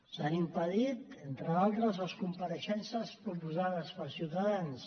s’han impedit entre d’altres les compareixences proposades per ciutadans